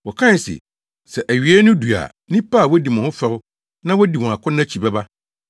Wɔkae se, “Sɛ awiei no du a nnipa a wodi mo ho fɛw na wodi wɔn akɔnnɔ akyi bɛba.”